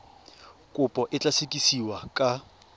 kopo e tla sekasekiwa ka